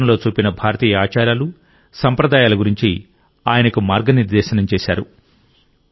చిత్రంలో చూపిన భారతీయ ఆచారాలు సంప్రదాయాల గురించి ఆయనకు మార్గనిర్దేశం చేశారు